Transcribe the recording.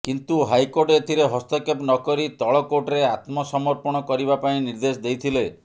କିନ୍ତୁ ହାଇକୋର୍ଟ ଏଥିରେ ହସ୍ତକ୍ଷେପ ନକରି ତଳ କୋର୍ଟରେ ଆତ୍ମସମର୍ପଣ କରିବା ପାଇଁ ନିର୍ଦ୍ଦେଶ ଦେଇଥିଲେ